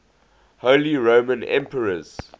holy roman emperors